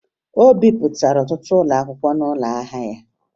O bipụtara ọtụtụ akwụkwọ n'ụlọ ahịa ya